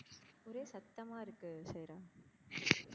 சத்தமா இருக்கு சைரா.